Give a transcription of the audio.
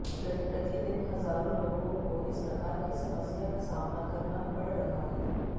प्रतिदिन हजारों लोगों को इस प्रकार की समस्या का सामना करना पड़ रहा है